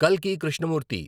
కల్కి కృష్ణమూర్తి